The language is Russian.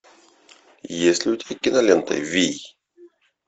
есть ли у тебя кинолента вий